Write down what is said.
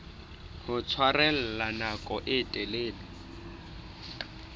ho tshwarella nako e telele